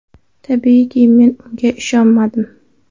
Tabiiyki, men unga ishonmadim.